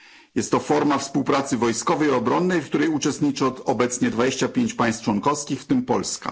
Jest to forma współpracy wojskowej i obronnej, w której uczestniczy obecnie 25 państw członkowskich, w tym Polska.